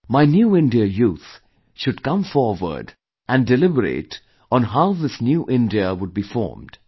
My New India Youth should come forward and deliberate on how this New India would be formed